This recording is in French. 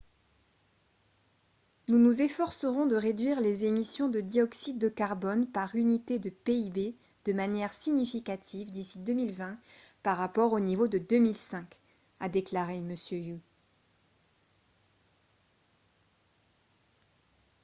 « nous nous efforcerons de réduire les émissions de dioxyde de carbone par unité de pib de manière significative d'ici 2020 par rapport au niveau de 2005 » a déclaré m. hu